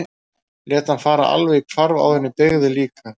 Ég lét hann fara alveg í hvarf áður en ég beygði líka.